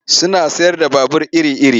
Suna sayar da babur iri-iri.